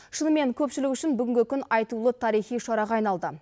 шынымен көпшілік үшін бүгінгі күн айтулы тарихи шараға айналды